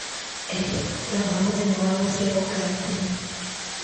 eheria mambura ma mũthenya wa gũciarwo kuma karenda-inĩ